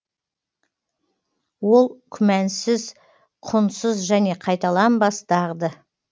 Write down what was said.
ол күмәнсіз құнсыз және қайталанбас дағды